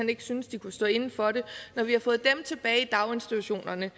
ikke synes de kunne stå inde for det tilbage i daginstitutionerne